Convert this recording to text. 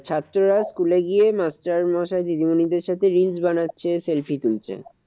ছাত্ররা school এ গিয়ে মাস্টারমশাই দিদিমনি দের সাথে reels বানাচ্ছে selfie তুলছে।